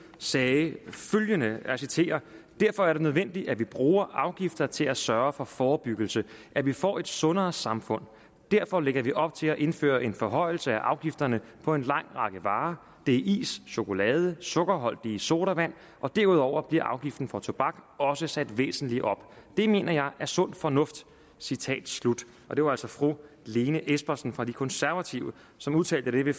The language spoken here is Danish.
sagde hun følgende og jeg citerer derfor er det nødvendigt at vi bruger afgifter til at sørge for forebyggelse at vi får et sundere samfund derfor lægger vi op til at indføre en forhøjelse af afgifterne på en lang række varer det er is chokolade og sukkerholdige sodavand og derudover bliver afgiften på tobak også sat væsentligt op det mener jeg er sund fornuft citat slut det var altså fru lene espersen fra de konservative som udtalte dette i